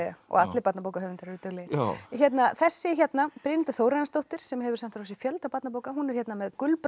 og allir barnabókahöfundar eru duglegir þessi hérna Brynhildur Þórarinsdóttir sem hefur sent frá sér fjölda barnabóka hún er hér með